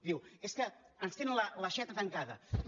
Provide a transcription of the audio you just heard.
diu és que ens tenen l’aixeta tancada